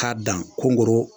K'a dan kongoro